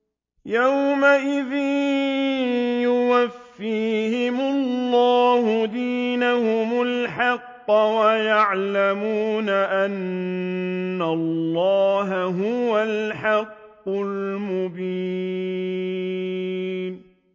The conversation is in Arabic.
يَوْمَئِذٍ يُوَفِّيهِمُ اللَّهُ دِينَهُمُ الْحَقَّ وَيَعْلَمُونَ أَنَّ اللَّهَ هُوَ الْحَقُّ الْمُبِينُ